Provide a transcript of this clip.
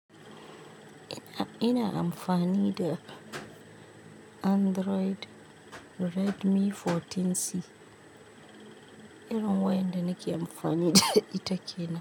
Ina, ina amfani da Android Redmi 14C. Irin wayanda nake amfani da ita kenan.